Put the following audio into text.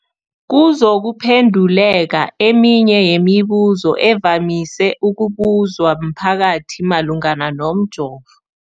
kuzokuphe nduleka eminye yemibu zo evamise ukubuzwa mphakathi malungana nomjovo.